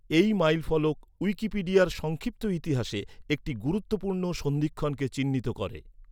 এই মাইলফলক উইকিপিডিয়ার সংক্ষিপ্ত ইতিহাসে একটি গুরুত্বপূর্ণ সন্ধিক্ষণকে চিহ্নিত করে।